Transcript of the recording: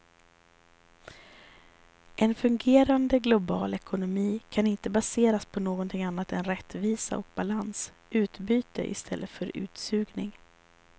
En fungerande global ekonomi kan inte baseras på någonting annat än rättvisa och balans, utbyte i stället för utsugning.